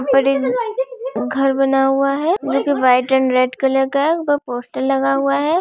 ऊपर एक घर बना हुआ वो भी वाइट एंड रेड कलर का है ऊपर पोस्टर लगा हुआ है